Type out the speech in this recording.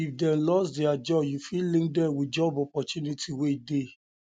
if dey lost their job you fit link them with job opportunity wey dey